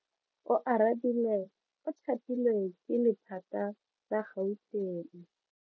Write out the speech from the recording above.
Oarabile o thapilwe ke lephata la Gauteng.